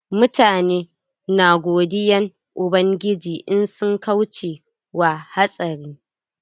Mutane na godiyan ubangiji in sun kauce wa hatsari.